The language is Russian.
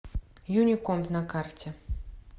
юникомп на карте